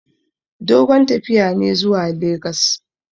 Dogon tafiya ne zuwa legas.